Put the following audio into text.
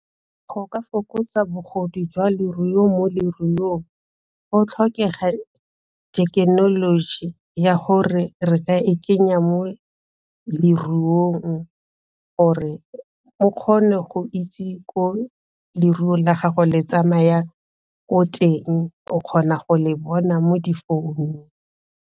Go ka fokotsa bogodu jwa leruo mo leruong go tlhokega thekenoloji ya gore re ka e kenya mo leruong gore o kgone go itse ko leruo la gago le tsamaya ko teng o kgona go le bona mo difounung.